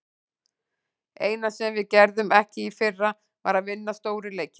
Eina sem við gerðum ekki í fyrra, var að vinna stóru leikina.